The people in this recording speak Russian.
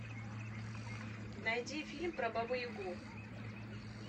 найди фильм про бабу ягу